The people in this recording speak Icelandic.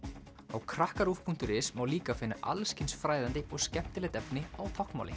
á krakkaruv punktur is má líka finna allskyns fræðandi og skemmtilegt efni á táknmáli